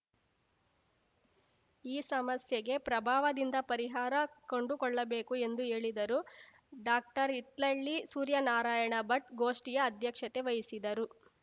ಈ ಸಮಸ್ಯೆಗೆ ಪ್ರಬಾವದಿಂದ ಪರಿಹಾರ ಕಂಡುಕೊಳ್ಳಬೇಕು ಎಂದು ಹೇಳಿದರು ಡಾಕ್ಟರ್ಹಿತ್ಲಳ್ಳಿ ಸೂರ್ಯನಾರಾಯಣ ಭಟ್‌ ಗೋಷ್ಠಿಯ ಅಧ್ಯಕ್ಷತೆ ವಹಿಸಿದ್ದರು